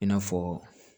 I n'a fɔ